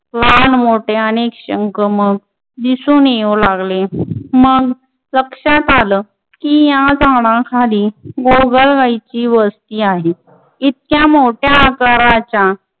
लहान मोठे अनेक शंख मग दिसून येऊ लागले मग लक्षात आलं की या झाडाखाली गोगलगायींची वस्ती आहे इतक्या मोठ्या आकाराच्या